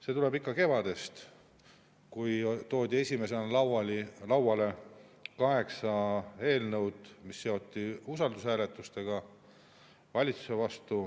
See tuleb ikka kevadest, kui toodi esimesena lauale kaheksa eelnõu, mis seoti valitsuse usalduse hääletusega.